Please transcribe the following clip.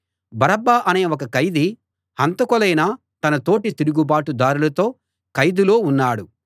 బరబ్బ అనే ఒక ఖైదీ హంతకులైన తన తోటి తిరుగుబాటుదారులతో ఖైదులో ఉన్నాడు